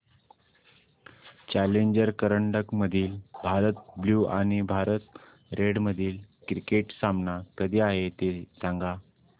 challenger करंडक मधील Bharat blue आणि भारत रेड मधील क्रिकेट सामना कधी आहे ते सांगा